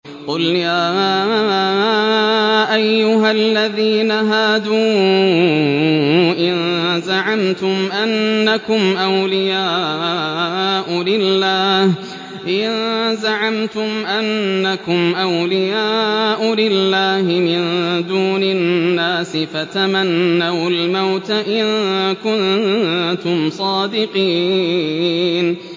قُلْ يَا أَيُّهَا الَّذِينَ هَادُوا إِن زَعَمْتُمْ أَنَّكُمْ أَوْلِيَاءُ لِلَّهِ مِن دُونِ النَّاسِ فَتَمَنَّوُا الْمَوْتَ إِن كُنتُمْ صَادِقِينَ